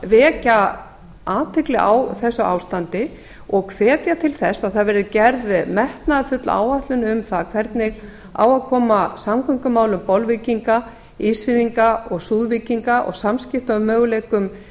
vekja athygli á þessu ástandi og hvetja til þess að það verði gerð metnaðarfull áætlun um það hvernig á að koma samgöngumálum bolvíkinga ísfirðinga og súðvíkinga og samskiptamöguleikum